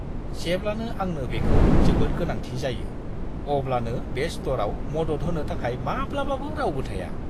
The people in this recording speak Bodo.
जेब्लानो आंनो बेखौ जोबोद गोनांथि जायो अब्लानो बे स्ट'रआव मदद होनो थाखाय माब्लाबाबो रावबो थाया।